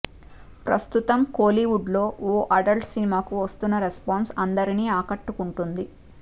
ప్రస్తుతం కోలీవుడ్ లో ఓ అడల్ట్ సినిమాకి వస్తోన్న రెస్పాన్స్ అందరిని ఆకట్టుకుంటోంది